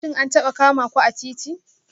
Shin an taba kama ku a titi?